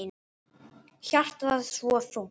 Hjartað svo þungt.